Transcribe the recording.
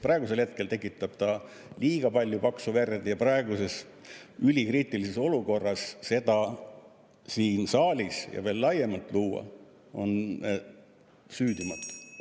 Praegusel hetkel tekitab ta liiga palju paksu verd ja praeguses ülikriitilises olukorras seda siin saalis ja veel laiemaltki tekitada on süüdimatu.